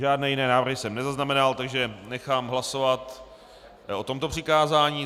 Žádné jiné návrhy jsem nezaznamenal, takže nechám hlasovat o tomto přikázání.